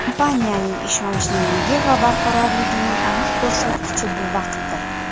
Kompaniyaning ishonchliligi va barqarorligining aniq ko‘rsatkichi bu vaqtdir.